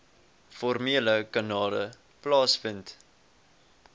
formele kanale plaasvind